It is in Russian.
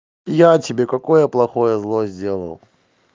я тебе какое плохое зло сделал